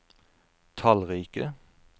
tallrike